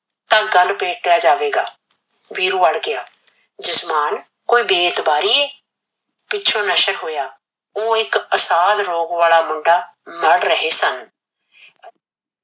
ਤਾ ਗੱਲ ਜਾਵੇਗਾ। ਵੀਰੂ ਅੜ ਗਿਆ ਜਜਮਾਨ ਕੋਈ ਬੇਇਤਬਾਰੀ ਏ, ਪਿੱਛੋਂ ਨਸ਼ਕ ਹੋਇਆ। ਉਹ ਇਕ ਅਸਾਨ ਰੋਗ ਵਾਲਾ ਮੁੰਡਾ ਮੜ ਰਹੇ ਸਨ।